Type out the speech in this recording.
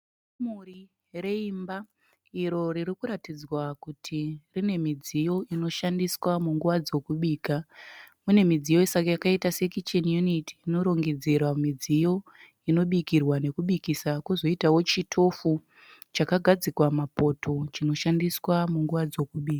Kamuri reimba uro ririkuratidzwa kuti rinemidziyo inoshandiwa munguva dzekubika. Pane kicheni yuniti inorendedzerwa midziyo yekubika uye yekubikisa kozoitawo chitofu chakagadzikwa mapoto chinoshandiswa munguva dzekubika